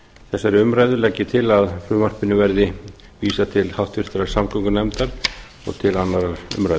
þessari umræðu legg ég til að frumvarpinu verði vísað til háttvirtrar samgöngunefndar og til annarrar umræðu